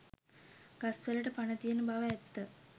ගස් වලට පණ තියෙන බව ඇත්ත